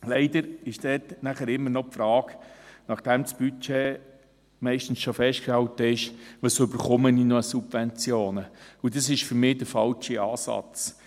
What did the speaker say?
Leider kommt dort, nachdem das Budget meistens schon festgehalten ist, immer noch die Frage: «Was bekomme ich noch an Subventionen?», und das ist für mich der falsche Ansatz.